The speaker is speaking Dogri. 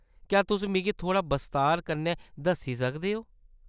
क्या तुस मिगी थोह्‌ड़ा बस्तार कन्नै दस्सी सकदे ओ ?